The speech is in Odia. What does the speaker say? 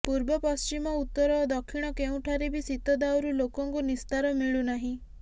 ପୂର୍ବ ପଶ୍ଚିମ ଉତ୍ତର ଓ ଦକ୍ଷିଣ କେଉଁଠାରେ ବି ଶୀତ ଦାଉରୁ ଲୋକଙ୍କୁ ନିସ୍ତାର ମିଳୁନାହିଁ